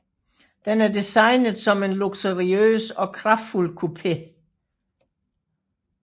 Den er designet som en luksuriøs og kraftfuld coupé